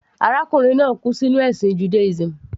Arákùnrin náà kú sínú ẹ̀sìn Judaism.